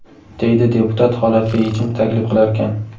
deydi deputat holatga yechim taklif qilarkan.